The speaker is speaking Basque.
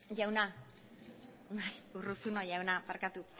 jauna bai urruzuno jauna barkatu